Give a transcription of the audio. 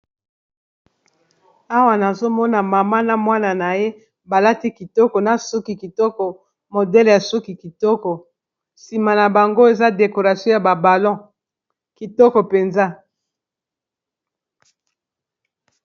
Awa nazomona mama na mwana na ye balati kitoko na suki kitoko, modele ya suki kitoko, sima na bango eza decoration ya babalon kitoko mpenza.